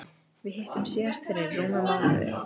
Við hittumst síðast fyrir rúmum mánuði.